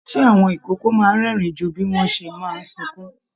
Ṣe àwọn ikòkò máa n rẹ́rìn jù bí wọn ṣe máa sunkún?